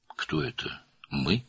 Bu "biz" kimdir?